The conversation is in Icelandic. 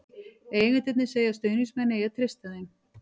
Eigendurnir segja að stuðningsmenn eigi að treysta þeim.